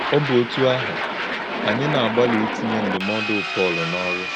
Ọ́ bụ̀ ọ́tụ́ áhụ́, ányí na-àgbálị ìtinyé ndụ́módù Pọl n’ọ́rụ́.